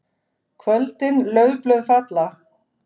KVÖLDIN LAUFBLÖÐ FALLA.